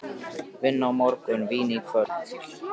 Vinna á morgun, vín í kvöld.